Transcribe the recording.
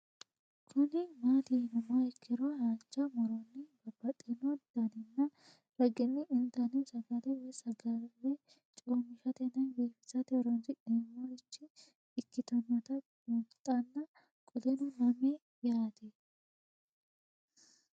Kuni mati yinumoha ikiro hanja muroni babaxino daninina ragini intani sagale woyi sagali comishatenna bifisate horonsine'morich ikinota bunxana qoleno lame yaate